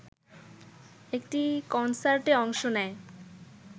একটি কনসার্টে অংশ নেয়